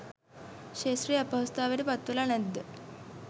ක්ෂේත්‍රයේ අපහසුතාවට පත්වෙලා නැද්ද?